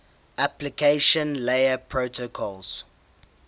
application layer protocols